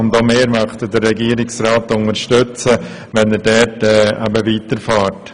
Auch wir unterstützen den Regierungsrat dabei, wenn er in diese Richtung fortfährt.